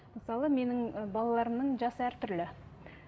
мысалы менің і балаларымның жасы әртүрлі